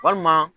Walima